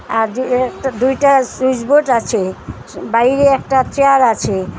আর যে এই দুইটা সুইচ বোর্ড আছে বাইরে একটা চেয়ার আছে।